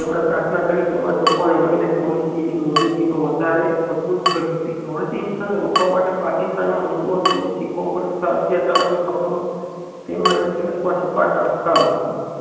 તેમણે પ્રાર્થના કરી તેમજ લોકોને મળી ને પોલીસ ની મોજુદગી નો વધારે મજબૂત કરી હતી ને રોકવા માટે પાકિસ્તામાં હિંદુઓ તેમજ શીખો ઉપર થતા અત્યાચારો ની ખબરો તેમણે press માં છપાતા અટકાવી